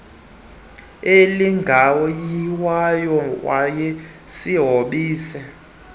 esinephunga elingayiwayo wayesihombise